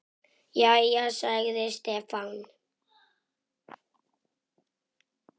Jæja, sagði Stefán.